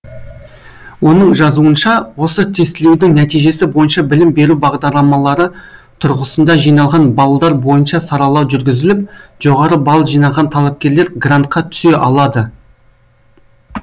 оның жазуынша осы тестілеудің нәтижесі бойынша білім беру бағдарламалары тұрғысында жиналған баллдар бойынша саралау жүргізіліп жоғары балл жинаған талапкерлер грантқа түсе алады